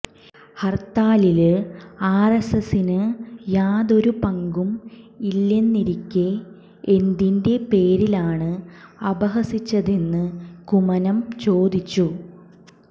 ഹര്ത്താലില് ആര്എസ്എസിന് യാതൊരു പങ്കും ഇല്ലെന്നിരിക്കെ എന്തിന്റെ പേരിലാണ് അപഹസിച്ചതെന്ന് കുമ്മനം ചോദിച്ചു